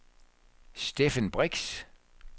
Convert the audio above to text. Steffen Brix